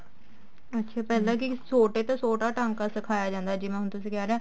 ਅੱਛਾ ਪਹਿਲਾਂ ਕੀ ਛੋਟੇ ਤੋਂ ਛੋਟਾ ਟਾਂਕਾ ਸਿਖਾਇਆ ਜਾਂਦਾ ਜਿਵੇਂ ਹੁਣ ਤੁਸੀਂ ਕਹਿ ਰਹੇ ਹੋ